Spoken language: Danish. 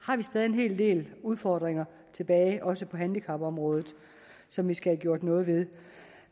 har vi stadig væk en hel del udfordringer tilbage også på handicapområdet som vi skal have gjort noget ved